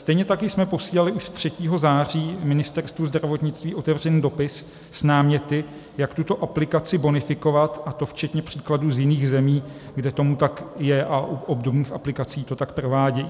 Stejně tak jsme posílali už 3. září Ministerstvu zdravotnictví otevřený dopis s náměty, jak tuto aplikaci bonifikovat, a to včetně příkladů z jiných zemí, kde tomu tak je a u obdobných aplikací to tak provádějí.